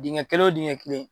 Dingɛ kelen o dingɛ kelen.